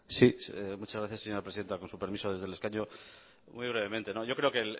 sí muchas gracias señora presidenta con su permiso desde el escaño muy brevemente yo creo que